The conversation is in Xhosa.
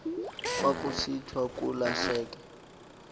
kwakusithiwa kula hleke